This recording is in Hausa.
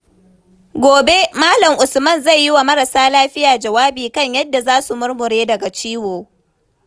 Gobe, Malam Usman zai yi wa marasa lafiya jawabi kan yadda za su murmure daga ciwo.